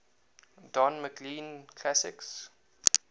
don mclean classics